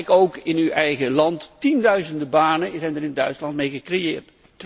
Kijk ook in uw eigen land tienduizenden banen zijn er in Duitsland mee gecreëerd.